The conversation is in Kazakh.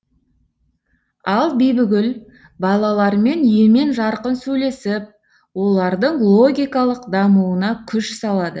ал бибігүл балалармен емен жарқын сөйлесіп олардың логикалық дамуына күш салады